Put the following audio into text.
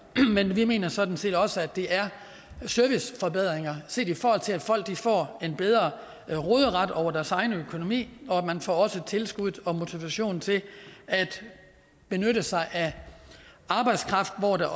men vi mener sådan set også at det er serviceforbedringer set i forhold til at folk får en bedre råderet over deres egen økonomi og man får også tilskud og motivation til at benytte sig af arbejdskraft hvor der